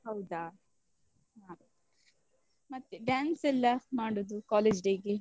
ಹೌದಾ ಮತ್ತೆ dance ಎಲ್ಲ ಮಾಡುದು college day ಗೆ.